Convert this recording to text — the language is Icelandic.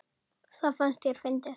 Það fannst þér fyndið.